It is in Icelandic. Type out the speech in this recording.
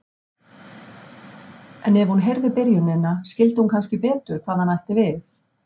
En ef hún heyrði byrjunina skildi hún kannski betur hvað hann ætti við.